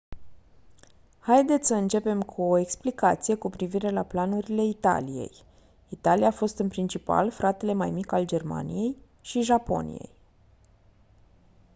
haideți să începem cu o explicație cu privire la planurile italiei. italia a fost în principal «fratele mai mic» al germaniei și japoniei